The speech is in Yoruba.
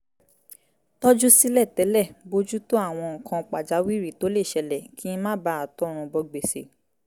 tọ́jú sílẹ̀ tẹ́lẹ̀ bójú tó àwọn nǹkan pàjáwìrì tó lè ṣẹlẹ̀ kí n má bàa tọrùn bọ gbèsè